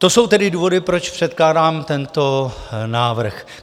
To jsou tedy důvody, proč předkládám tento návrh.